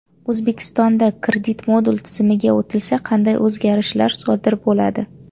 O‘zbekistonda kredit-modul tizimiga o‘tilsa qanday o‘zgarishlar sodir bo‘ladi?